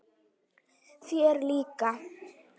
Þér líka?